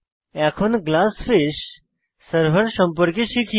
এখন GlassFish server সম্পর্কে শিখি